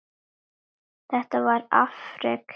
Þetta var afrek.